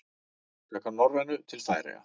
Taka Norrænu til Færeyja?